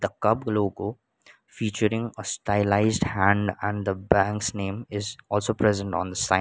the cub logo featuring stylised hand and the banks name is also present on the sign.